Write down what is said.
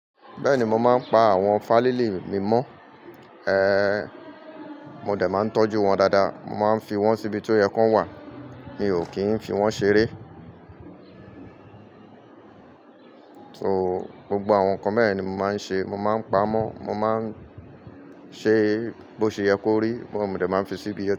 Bẹ́ẹ̀ni, mo máa ń pa àwọn fálílì mi mọ́. Ehn, mo dẹ̀ máa ń tọ́jú wọn dáadáa. Mo máa ń fi wọ́n síbi tó yẹ kó wà. Mi ò kì í fi wọ́n ṣeré. So, gbogbo àwọn nǹkan beyen ni mo máa ń ṣe. Mo máa ń pa á mọ́, mo máa ń ṣe bó ṣe yẹ kó rí, mo dẹ̀ máa ń fi síbi ẹ.